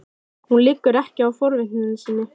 Hún liggur ekki á forvitni sinni.